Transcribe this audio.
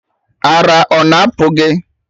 Ara ọ na apụ gị?